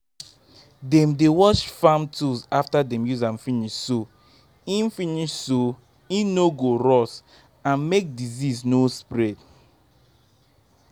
dem dey wash farm tools after dem use am finish so hin finish so hin no go rust and make disease no spread